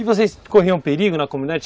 E vocês corriam perigo na comunidade?